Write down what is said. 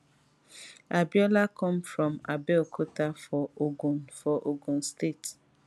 abiola come from abeokuta for ogun for ogun state